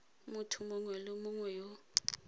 motho mongwe le mongwe yo